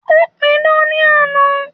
Ó pidán ní àná.